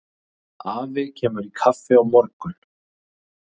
Afi kemur í kaffi á morgun.